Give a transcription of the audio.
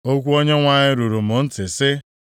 Okwu Onyenwe anyị ruru m ntị, sị,